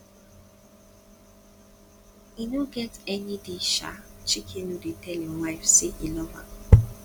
e no get any day um chike no dey tell im wife say e love am